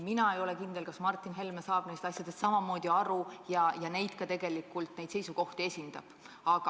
Mina ei ole kindel, kas Martin Helme saab nendest asjadest samamoodi aru ja ka tegelikult neid seisukohti esindab.